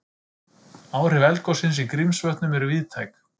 Áhrif eldgossins í Grímsvötnum eru víðtæk